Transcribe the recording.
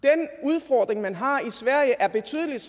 den udfordring man har i sverige er betydelig